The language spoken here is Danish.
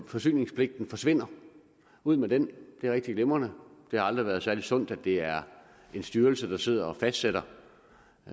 forsyningspligten forsvinder ud med den det er rigtig glimrende det har aldrig været særlig sundt at det er en styrelse der sidder og fastsætter